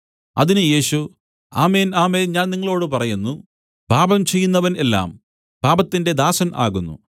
അതിന് യേശു ആമേൻ ആമേൻ ഞാൻ നിങ്ങളോടു പറയുന്നു പാപം ചെയ്യുന്നവൻ എല്ലാം പാപത്തിന്റെ ദാസൻ ആകുന്നു